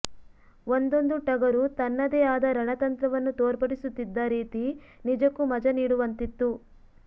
ಒಂದೊಂದು ಟಗರು ತನ್ನದೇ ಆದ ರಣತಂತ್ರವನ್ನು ತೋರ್ಪಡಿಸುತ್ತಿದ್ದ ರೀತಿ ನಿಜಕ್ಕೂ ಮಜ ನೀಡುವಂತಿತ್ತು